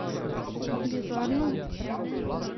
Bizarno?